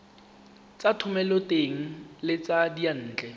tsa thomeloteng le tsa diyantle